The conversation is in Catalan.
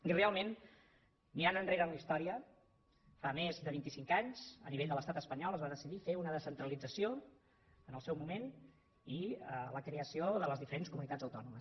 i realment mirant enrere en la història fa més de vint i cinc anys a nivell de l’estat espanyol es va decidir fer una descentralització en el seu moment i la creació de les diferents comunitats autònomes